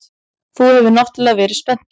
Þú hefur náttúrlega verið spenntur.